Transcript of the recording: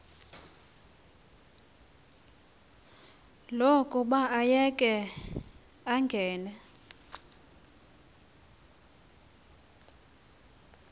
lokuba ayeke angene